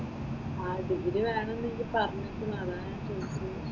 ആഹ് degree വേണമെന്ന് നീ പറഞ്ഞിരിക്കുന്നു അതാ ഞാൻ ചോദിച്ചത്.